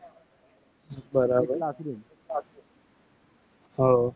બરાબ હાઓ.